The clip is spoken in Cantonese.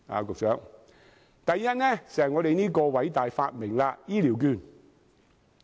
局長，第一，就是我們這個偉大發明——醫療券。